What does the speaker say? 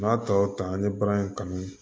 N'a tɔw ta an ye baara in kanu